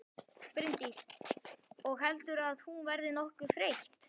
Bryndís: Og heldurðu að hún verði nokkuð þreytt?